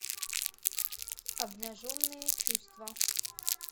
обнаженные чувства